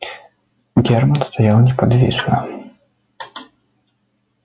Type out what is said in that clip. германн стоял неподвижно